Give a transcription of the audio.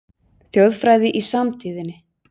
Þjóðfræði í samtíðinni